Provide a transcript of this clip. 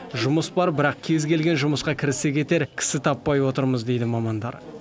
жұмыс бар бірақ кез келген жұмысқа кірісе кетер кісі таппай отырмыз дейді мамандар